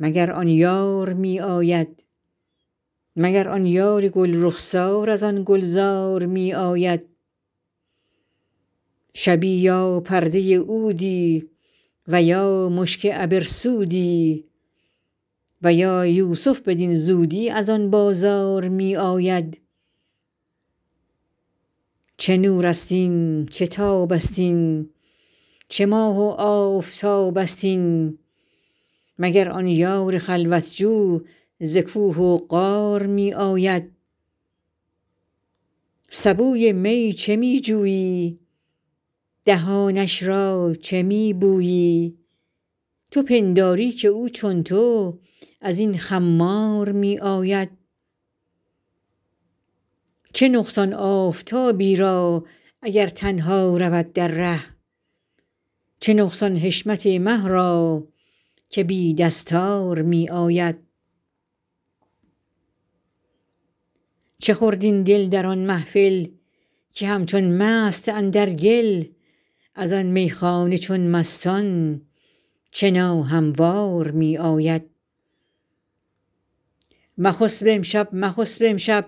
مگر آن یار می آید مگر آن یار گل رخسار از آن گلزار می آید شبی یا پرده عودی و یا مشک عبرسودی و یا یوسف بدین زودی از آن بازار می آید چه نورست این چه تابست این چه ماه و آفتابست این مگر آن یار خلوت جو ز کوه و غار می آید سبوی می چه می جویی دهانش را چه می بویی تو پنداری که او چون تو از این خمار می آید چه نقصان آفتابی را اگر تنها رود در ره چه نقصان حشمت مه را که بی دستار می آید چه خورد این دل در آن محفل که همچون مست اندر گل از آن میخانه چون مستان چه ناهموار می آید مخسب امشب مخسب امشب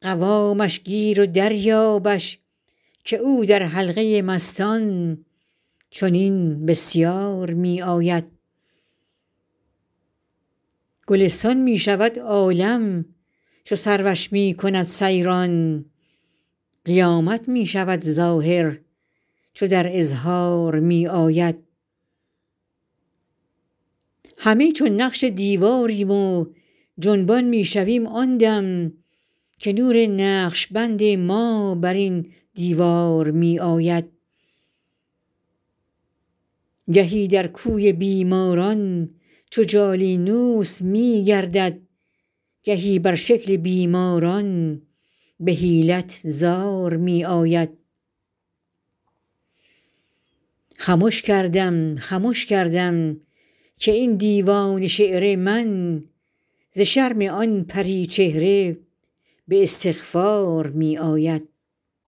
قوامش گیر و دریابش که او در حلقه مستان چنین بسیار می آید گلستان می شود عالم چو سروش می کند سیران قیامت می شود ظاهر چو در اظهار می آید همه چون نقش دیواریم و جنبان می شویم آن دم که نور نقش بند ما بر این دیوار می آید گهی در کوی بیماران چو جالینوس می گردد گهی بر شکل بیماران به حیلت زار می آید خمش کردم خمش کردم که این دیوان شعر من ز شرم آن پری چهره به استغفار می آید